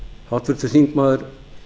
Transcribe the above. háttvirtur þingmaður